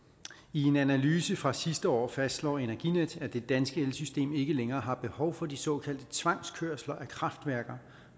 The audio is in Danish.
en analyse fra sidste år fastslår energinet at det danske elsystem ikke længere har behov for de såkaldte tvangskørsler af kraftværker